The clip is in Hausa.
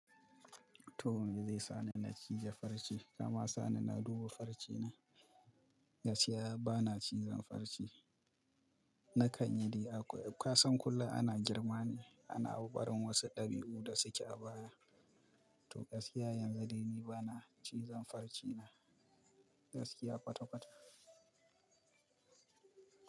To, me zai sa ni na cije farce? Kama sa ni na duba farce na. Gaskiya ba na cizon farce. Nakan yi dai akwai. Kasan kullum ana girma ne, ana barin wasu dabi'u da suke a baya. To gaskiya yanzu dai ni ba na cizon farce na. Gaskiya kwata-kwata.